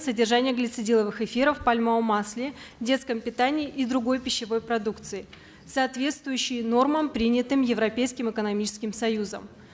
содержания глицидиловых эфиров в пальмовом масле детском питании и другой пищевой продукции соответсвующей нормам принятым европейским экономическим союзом